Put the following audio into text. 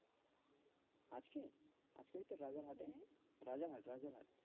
আজকে, আজকে ওই তো রাজার হাটে, হ্যাঁ, রাজার হাট রাজার হাট